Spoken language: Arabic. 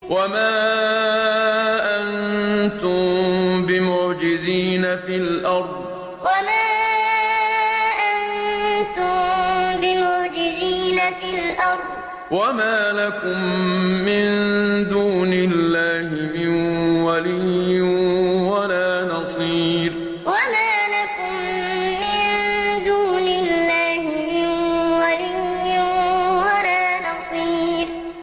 وَمَا أَنتُم بِمُعْجِزِينَ فِي الْأَرْضِ ۖ وَمَا لَكُم مِّن دُونِ اللَّهِ مِن وَلِيٍّ وَلَا نَصِيرٍ وَمَا أَنتُم بِمُعْجِزِينَ فِي الْأَرْضِ ۖ وَمَا لَكُم مِّن دُونِ اللَّهِ مِن وَلِيٍّ وَلَا نَصِيرٍ